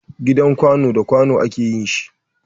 Gidan Kwanu da kwanu a ke yin shi.